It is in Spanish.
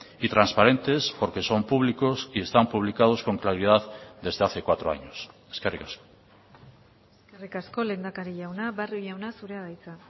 y transparentes porque son públicos y están publicados con claridad desde hace cuatro años eskerrik asko eskerrik asko lehendakari jauna barrio jauna zurea da hitza